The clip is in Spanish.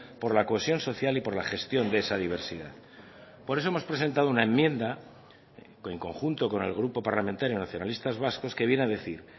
por la cohesión social y por la gestión de esa diversidad por eso hemos presentado una enmienda en conjunto con el grupo parlamentario nacionalistas vascos que viene a decir